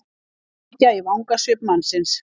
Áhyggja í vangasvip mannsins.